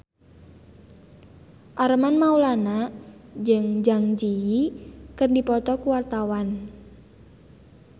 Armand Maulana jeung Zang Zi Yi keur dipoto ku wartawan